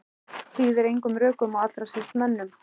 Hlýðir engum rökum og allra síst mönnum.